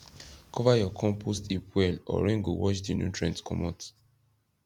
cover your compost heap well or rain go wash the nutrients commot